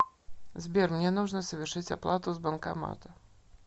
сбер мне нужно совершить оплату с банкомата